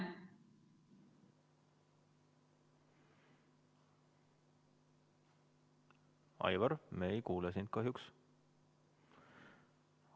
Aivar, me ei kuule sind kahjuks.